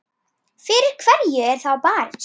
Fyrir hverju er þá barist?